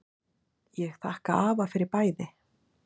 Ég þakka afa fyrir bæði.